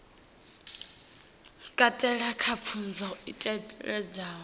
katela kha pfunzo i ṱalutshedza